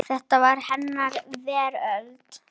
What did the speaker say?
Þetta var hennar veröld.